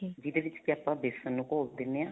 ਜਿਹਦੇ ਵਿੱਚ ਕਿ ਆਪਾਂ ਵੇਸਨ ਨੂੰ ਘੋਲ ਦਿਨੇ ਆ